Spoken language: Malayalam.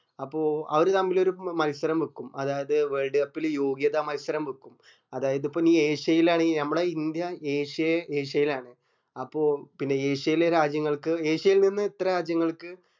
അപ്പൊ അവര് തമ്മിൽ ഒരു മത്സരം വെക്കും അതാത് world cup ല് യോഗ്യത മത്സരം വെക്കും അതായത് ഇപ്പൊ നീ ഏശ്യേല് ആണെങ്കി നമ്മളെ ഇന്ത്യ ഏശ്യേ ഏശ്യേലാണ് അപ്പൊ പിന്നെ ഏശ്യേലെ രാജ്യങ്ങൾക്ക് ഏശ്യേയിൽ നിന്ന് എത്ര രാജ്യങ്ങൾക്ക്